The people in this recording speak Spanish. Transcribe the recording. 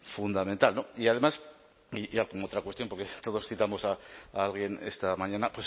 fundamental no y además y ya como otra cuestión porque todos citamos a alguien esta mañana